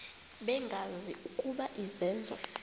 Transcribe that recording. bengazi ukuba izenzo